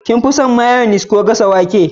kin fi son mayyonia ko gasa wake